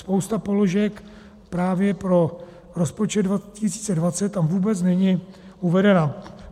Spousta položek právě pro rozpočet 2020 tam vůbec není uvedena.